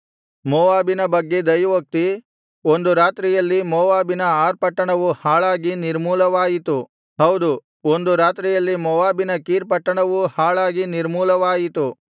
ಮೋವಾಬಿನ ಬಗ್ಗೆ ದೈವೋಕ್ತಿ ಒಂದು ರಾತ್ರಿಯಲ್ಲಿ ಮೋವಾಬಿನ ಆರ್ ಪಟ್ಟಣವು ಹಾಳಾಗಿ ನಿರ್ಮೂಲವಾಯಿತು ಹೌದು ಒಂದು ರಾತ್ರಿಯಲ್ಲಿ ಮೋವಾಬಿನ ಕೀರ್ ಪಟ್ಟಣವೂ ಹಾಳಾಗಿ ನಿರ್ಮೂಲವಾಯಿತು